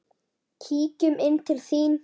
Kíkjum inn til þín